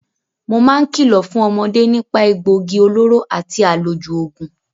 Mo máa ń kìlọ̀ fún ọmọde nípà egbòogi olóró àti àlòjù oògùn.